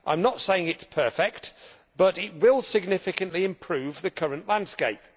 I am not saying it is perfect but it will significantly improve the current landscape.